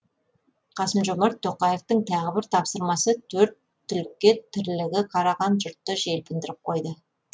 қасым жомарт тоқаевтың тағы бір тапсырмасы төрт түлікке тірлігі қараған жұртты желпіндіріп қойды